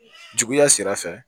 Juguya sira fɛ